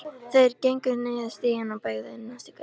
Þeir gengu niður stíginn og beygðu inn næstu götu.